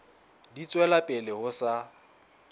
di tswela pele ho sa